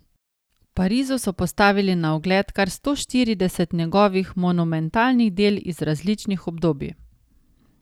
V Parizu so postavili na ogled kar sto štirideset njegovih monumentalnih del iz različnih obdobij.